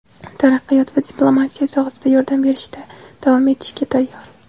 taraqqiyot va diplomatiya sohasida yordam berishda davom etishga tayyor.